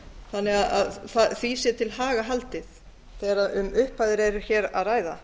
þannig að því sé til haga haldið þegar um upphæðir eru hér að ræða